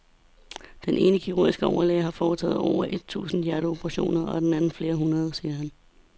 Den ene kirurgiske overlæge har foretaget over et tusind hjerteoperationer og den anden flere hundrede, siger han.